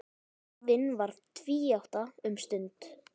Þjóðin varð tvíátta um stund.